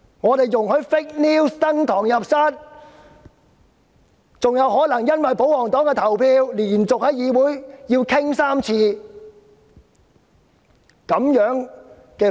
我們容許假新聞登堂入室，更可能因為保皇黨的投票而連續在議會辯論3次假新聞。